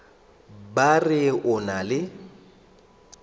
ba re o na le